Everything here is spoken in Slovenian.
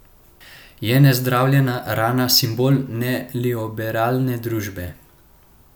Je nezdravljena rana simbol neoliberalne družbe?